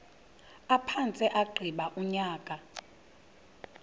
aphantse agqiba unyaka